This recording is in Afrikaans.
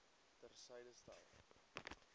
ter syde stel